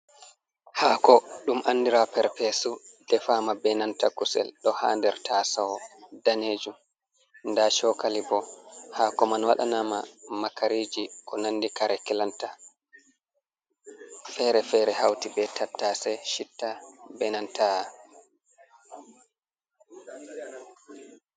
Haako ɗum andira perpesu defama be nanta kusel ɗo ha nder taaso danejum nda chokali bo, haako man waɗanama makariji ko nandi kare kilanta fere-fere hauti be tattase, chitta be nanta’a.